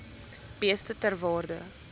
beeste ter waarde